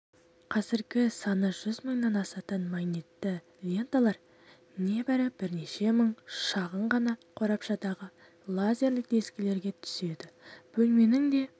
қазіргі саны жүз мыңнан асатын магнитті ленталар небары бірнеше мың шағын ғана қорабшадағы лазерлік дискілерге түседі бөлменің де